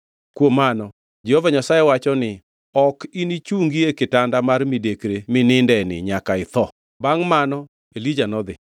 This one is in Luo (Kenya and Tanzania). Kuom mano Jehova Nyasaye wacho ni, ‘Ok inichungi e kitanda mar midekre minindeni nyaka itho!’ ” Bangʼ mano Elija nodhi.